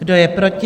Kdo je proti?